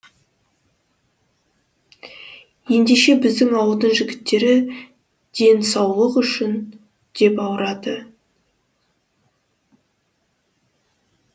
ендеше біздің ауылдың жігіттері денасулық үшін деп ауырады